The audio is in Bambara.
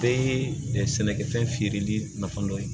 Bɛɛ ye sɛnɛkɛfɛn feereli nafa dɔ ye